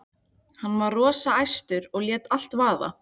Hann var rosa æstur og lét allt vaða.